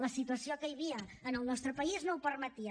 la situació que hi havia en el nostre país no ho permetia